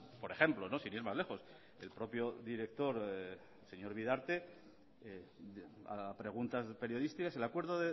por ejemplo sin ir más lejos el propio director el señor bidarte a preguntas periodísticas el acuerdo